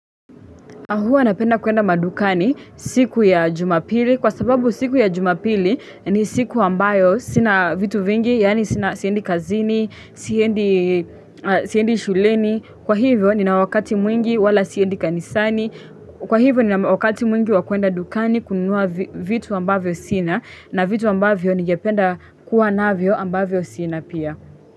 Huwa napenda kuenda madukani siku ya jumapili kwa sababu siku ya jumapili ni siku ambayo sina vitu vingi yani siendi kazini, siendi shuleni, kwa hivyo nina wakati mwingi wala siendi kanisani, kwa hivyo nina wakati mwingi wakwenda dukani kununua vitu ambavyo sina na vitu ambavyo ningependa kuwa navyo ambavyo sina pia.